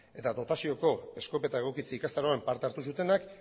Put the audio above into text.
eta dotazioko eskopeta egokitzea ikastaroan parte hartu zutenak